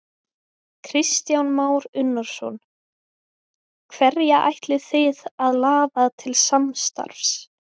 Kristján Már Unnarsson: Hverja ætlið þið að laða til samstarfs?